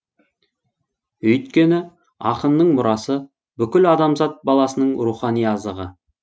өйткені ақынның мұрасы бүкіл адамзат баласының рухани азығы